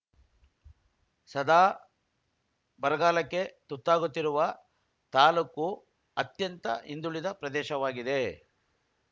ಸದಾ ಬರಗಾಲಕ್ಕೆ ತುತ್ತಾಗುತ್ತಿರುವ ತಾಲೂಕು ಅತ್ಯಂತ ಹಿಂದುಳಿದ ಪ್ರದೇಶವಾಗಿದೆ